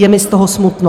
Je mi z toho smutno.